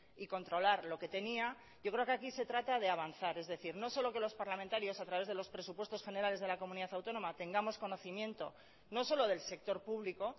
y controlar lo que tenía yo creo que aquí se trata de avanzar es decir no solo que los parlamentarios a través de los presupuestos generales de la comunidad autónoma tengamos conocimiento no solo del sector público